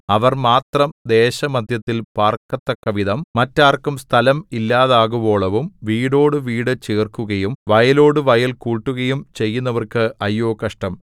അവർ മാത്രം ദേശമദ്ധ്യത്തിൽ പാർക്കത്തക്കവിധം മറ്റാർക്കും സ്ഥലം ഇല്ലാതാകുവോളവും വീടോടു വീടു ചേർക്കുകയും വയലോടു വയൽ കൂട്ടുകയും ചെയ്യുന്നവർക്ക് അയ്യോ കഷ്ടം